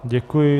Děkuji.